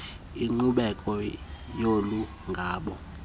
inkqubela yolu nyango